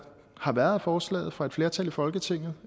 har været af forslaget fra et flertal i folketinget